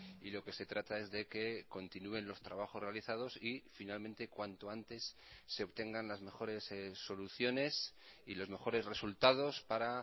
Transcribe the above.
y lo que se trata es de que continúen los trabajos realizados y finalmente cuanto antes se obtengan las mejores soluciones y los mejores resultados para